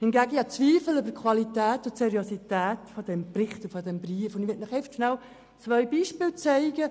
Hingegen habe ich Zweifel an der Qualität und der Seriosität dieses Schreibens, und ich möchte Ihnen zwei Beispiele aufzeigen.